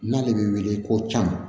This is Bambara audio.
N'ale bɛ wele ko tan